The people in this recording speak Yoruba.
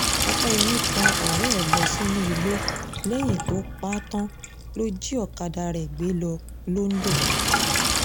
ọ̀pẹyẹmí tan ọ̀rẹ́ ẹ̀ ẹ̀ lọ sínú igbó lẹ́yìn tó pa á tán lọ jí ọ̀kadà rẹ̀ gbé lọ londo